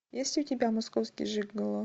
есть у тебя московский жиголо